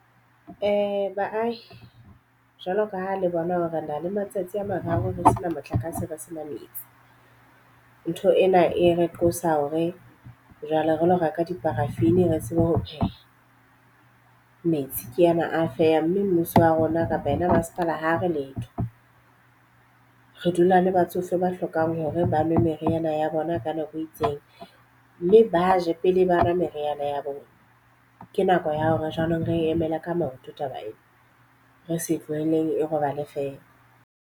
Baahi, jwalo ka ha le bona ho re na le matsatsi a mararo ho sena motlakase re se na metsi. Ntho ena e re qosa hore jwale re lo reka di-paraffien re tsebe ho pheha. Metsi ke ana a felw mme mmuso wa rona kapa yena masepala ha re letho. Re dula le batsofe ba hlokang hore ba nwe meriana ya bona ka nako e itseng. Mme ba je pele ba nwa meriana ya bona. Ke nako ya hore jwanong re emele ka maoto taba eo, re se tlohelleng e robale feela.